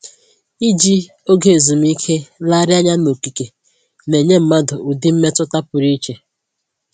Iji oge ezumike legharịanya n'okike na-enye mmadụ ụdị mmetụta pụrụ iche